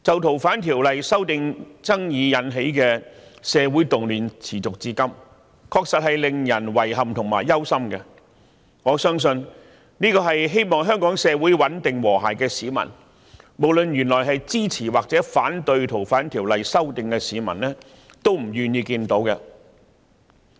《逃犯條例》修訂爭議引起的社會動亂持續至今，確實令人感到遺憾和憂心，我相信這是希望香港社會穩定和諧的市民——無論他們原本是支持或反對修訂《逃犯條例》——都不願意看到的。